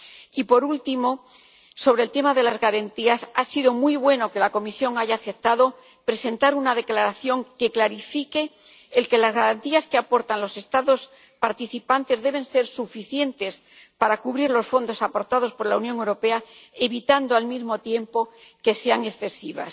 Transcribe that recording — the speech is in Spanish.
Y por último, sobre el tema de las garantías, ha sido muy positivo que la Comisión haya aceptado presentar una declaración que clarifique que las garantías que aportan los Estados participantes deben ser suficientes para cubrir los fondos aportados por la Unión Europea, evitando al mismo tiempo que sean excesivas.